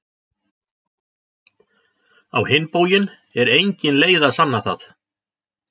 Á hinn bóginn er engin leið að sanna það.